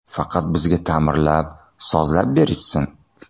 Faqat bizga ta’mirlab, sozlab berishsin.